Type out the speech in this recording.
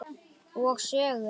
Og sögur.